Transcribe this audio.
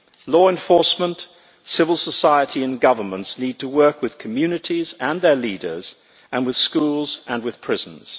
Law enforcement, civil society and governments need to work with communities and their leaders, with schools and with prisons.